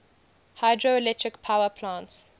hydroelectric power plants